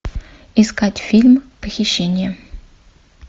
искать фильм похищение